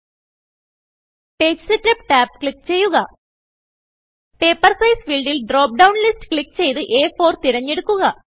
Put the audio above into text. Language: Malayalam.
പേജ് സെറ്റപ്പ് tab ക്ലിക്ക് ചെയ്യുക പേപ്പർ സൈസ് ഫീൽഡിൽ ഡ്രോപ്പ് ഡൌൺ ലിസ്റ്റ് ക്ലിക്ക് ചെയ്ത് അ4 തിരഞ്ഞെടുക്കുക